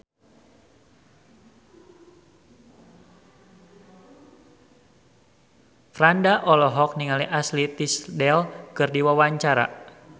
Franda olohok ningali Ashley Tisdale keur diwawancara